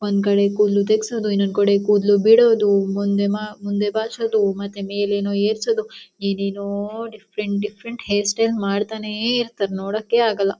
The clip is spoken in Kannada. ಒಂದ್ ಕಡೆ ಕೂದಲು ತೇಗಸೋದು ಇನೊಂದ ಕಡೆ ಕೂದಲು ಬೀಳೋದು ಮುಂದೆ ಬಾಚುದು ಮತ್ತೆ ಮೇಲೇನೋ ಏರ್ ಸೋದು ಏನೇನೊ ಡಿಫರೆಂಟ್ ಡಿಫರೆಂಟ್ ಹೇರ್ ಸ್ಟೈಲ್ ಮಾಡ್ತಾನೆ ಇರ್ತಾರೆ ನೋಡಕ್ಕೆ ಆಗಲ್ಲಾ.